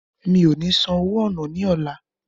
Mi ò ní san owó ọ̀nà ní ọlá.